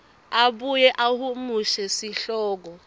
abuye ahumushe sihloko